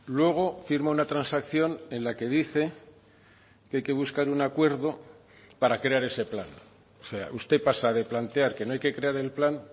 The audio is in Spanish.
luego firma una transacción en la que dice que hay que buscar un acuerdo para crear ese plan o sea usted pasa de plantear que no hay que crear el plan